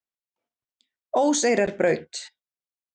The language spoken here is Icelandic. Óseyrarbraut